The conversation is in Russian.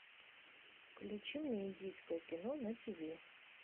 включи мне индийское кино на тиви